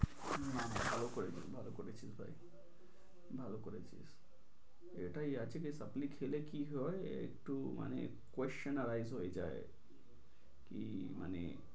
না না ভালো করেছিস ভালো করেছিস ভাই। ভালো করেছিস এটা আসলে supply খেলে কি হয় একটু মানে question arise হয়ে যায়। কি মানে